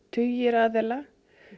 tugir aðila